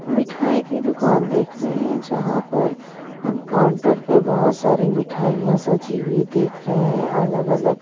मिठाईकी दुकान देख रहे हैं जहां पर हम काउंटर पर बहुत सारी मिठाइयां सजी हुई देख रहे हैं अलग-अलग--